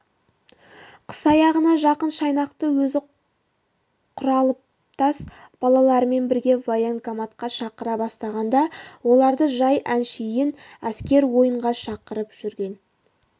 қыс аяғына жақын жайнақты өзі құралыптас балаларымен бірге военкоматқа шақыра бастағанда оларды жай әншейін әскер ойынға шақырып жүрген